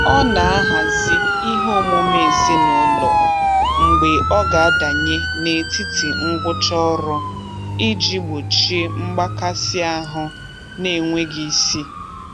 Ọ na-ahazi ihe omume ezinụlọ mgbe ọ ga adanye n'etiti ngwụcha ọrụ iji gbochie mgbakasịahụ n'enweghị isi.